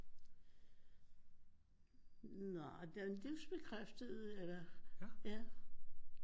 Nej livsbekræftet eller ja